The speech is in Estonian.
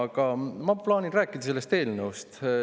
Aga ma plaanin rääkida sellest eelnõust.